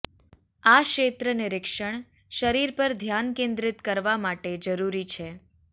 આ ક્ષેત્ર નિરીક્ષણ શરીર પર ધ્યાન કેન્દ્રિત કરવા માટે જરૂરી છે